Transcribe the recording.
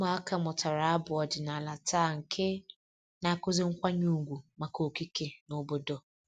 Ụmụaka mụtara abụ ọdịnala taa nke na-akụzi nkwanye ùgwù maka okike na obodo